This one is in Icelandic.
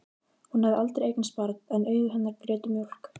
Hún hafði aldrei eignast barn en augu hennar grétu mjólk.